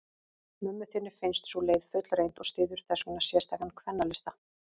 Mömmu þinni finnst sú leið fullreynd, og styður þessvegna sérstakan kvennalista.